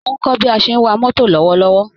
Mò ń kọ́ bí a ṣe ń wa mọ́tò lọ́wọ́lọ́wọ́